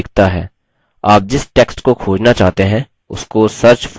आप जिस टेक्स्ट को खोजना चाहते हैं उसको search for फील्ड में प्रविष्ट करें